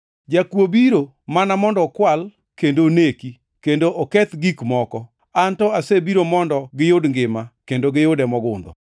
Jakuo biro mana mondo okwal kendo oneki kendo oketh gik moko, An to asebiro mondo giyud ngima, kendo giyude mogundho.